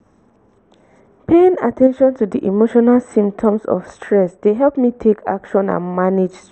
paying at ten tion to di emotional symptoms of stress dey help me take action and manage.